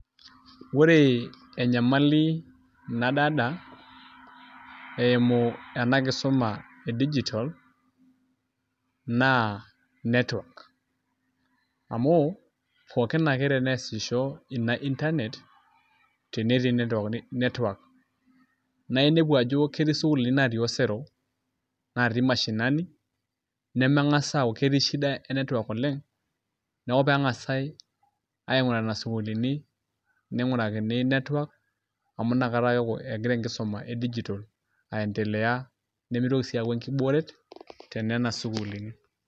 ore enyamali nadaalta eimu ena kisuma, e digital naa network amu pookin ake pee esisho ina internet naa tenetii network. naa inepu ajo ketii sukuulini natii osero, natii mshinani, nemeng'as ajo ketii shida e network oleng neku pee engas ainguraa nena suukulini. ningurakini network amu inakata eeku egira enkisuma e digital aendelea nimitoki sii aaku enkibooret tenena sukuulini.